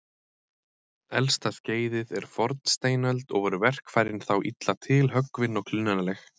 Elsta skeiðið er fornsteinöld og voru verkfæri þá illa tilhöggvin og klunnaleg.